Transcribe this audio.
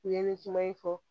U ye nin kuma in fɔ